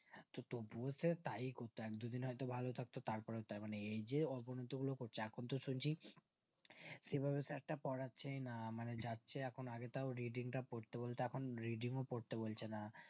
তবুও সেই তাই করতো এক দু দিন হয়তো ভালো থাকতো তারপরেও তাই এই যে অবনতি গুলো করছে এখন তো শুনছি সেভাবে তো sir তা পড়াচ্ছেই না মানে যাচ্ছে এখন আগে তাও reading টা পড়তে বলতো এখন reading ও পড়তে বলছে না